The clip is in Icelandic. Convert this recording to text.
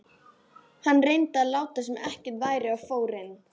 Hann reyndi að láta sem ekkert væri og fór inn.